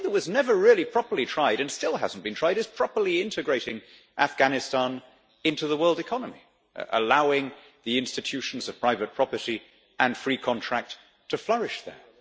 The one thing that was never really properly tried, and which still has not been tried, is properly integrating Afghanistan into the world economy, allowing the institutions of private property and free contract to flourish there.